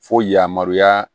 Fo yamaruya